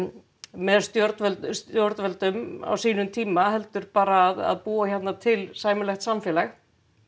með stjórnvöldum stjórnvöldum á sínum tíma heldur bara að búa hérna til sæmilegt samfélag